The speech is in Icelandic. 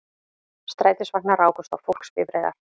Strætisvagnar rákust á fólksbifreiðar